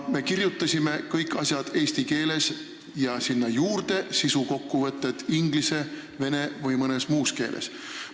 Me kirjutasime kõik asjad eesti keeles ja sinna juurde sisukokkuvõtted inglise, vene või mõnes muus keeles.